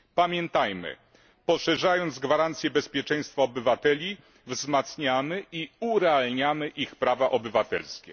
Pamiętajmy, że poszerzając gwarancje bezpieczeństwa obywateli, wzmacniamy i urealniamy ich prawa obywatelskie.